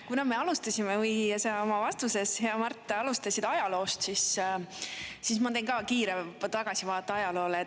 Kuna me alustasime või sa oma vastuses, hea Mart, alustasid ajaloost, siis ma tõin ka kiire tagasivaadete ajaloole.